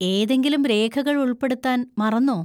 ഏതെങ്കിലും രേഖകൾ ഉൾപ്പെടുത്താൻ മറന്നോ?